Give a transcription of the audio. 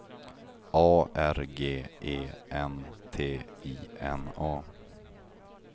A R G E N T I N A